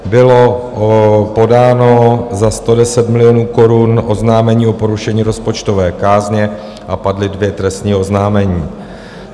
Bylo podáno za 110 milionů korun oznámení o porušení rozpočtové kázně a padla dvě trestní oznámení.